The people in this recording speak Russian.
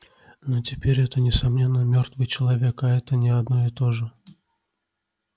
но теперь это несомненно мёртвый человек а это не одно и то же